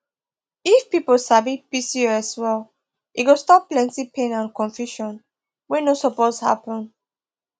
if people sabi pcos well e go stop plenty pain and confusion wey no suppose happen